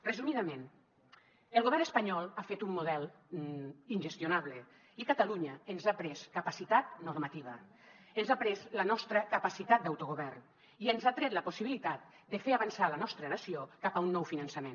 resumidament el govern espanyol ha fet un model ingestionable i a catalunya ens ha pres capacitat normativa ens ha pres la nostra capacitat d’autogovern i ens ha tret la possibilitat de fer avançar la nostra nació cap a un nou finançament